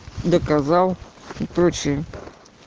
доказал сочи